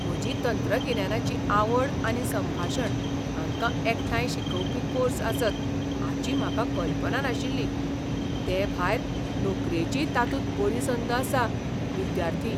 म्हजी तंत्रगिन्यानाची आवड आनी संभाशण हांकां एकठांय शिकवपी कोर्स आसत हाची म्हाका कल्पना नाशिल्ली, तेभायर नोकरेचीय तातूंत बरी संद आसा. विद्यार्थी